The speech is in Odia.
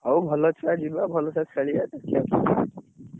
ହଉ ଭଲ ଛୁଆ ଯିବେ, ଭଲ ଭଲସେ ଖେଳିବେ।